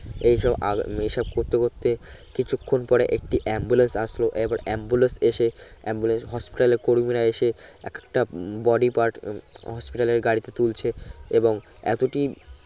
এই সব আগ এই সব করতে করতে কিছুক্ষন পরে একটি ambulance আসলো এবার ambulance এসে ambulance Hospital এর কর্মীরা এসে একটা body part Hospital এর গাড়িতে তুলছে এবং এতটি